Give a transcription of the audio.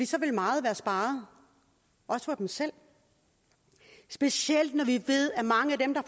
så ville meget være sparet også for dem selv specielt når vi ved at mange af dem der